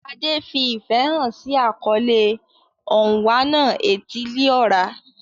Ade fi ìfẹ́ hàn sí àkọlé Onwa-na-etili-ora.